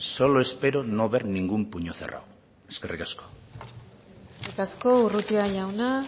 solo espero no ver ningún puño cerrado eskerrik asko eskerrik asko urrutia jauna